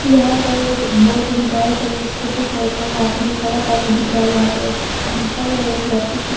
यहाँ पर एक दो तीन बाइक और एस स्कूटी खड़ा था यहाँ पर जो सड़क काफ़ी दिख रहा यहाँ पर एक अंकल और एक लड़की की --